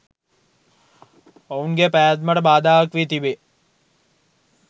ඔවුන්ගේ පැවැත්මට බාධාවක් වී තිබේ